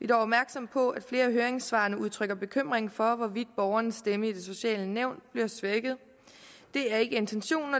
dog opmærksomme på at der i flere af høringssvarene udtrykkes bekymring for hvorvidt borgerens stemme i det sociale nævn bliver svækket det er ikke intentionen